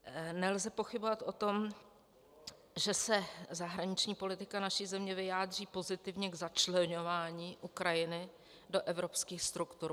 Nelze pochybovat o tom, že se zahraniční politika naší země vyjádří pozitivně k začleňování Ukrajiny do evropských struktur.